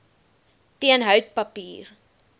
teen hout papier